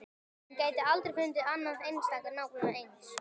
Hún gæti aldrei fundið annað eintak nákvæmlega eins.